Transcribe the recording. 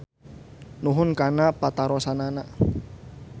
Nuhun kana patarosanana.